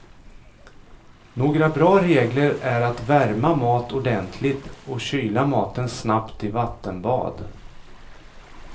Några bra regler är att värma mat ordentligt och kyla maten snabbt i vattenbad.